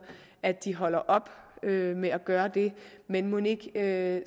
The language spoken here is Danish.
at de holder op med at gøre det men mon ikke